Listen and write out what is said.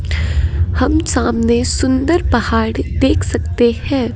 हम सामने सुंदर पहाड़ देख सकते हैं।